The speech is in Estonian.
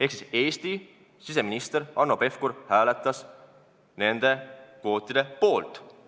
Ehk Eesti siseminister Hanno Pevkur hääletas nende kvootide poolt.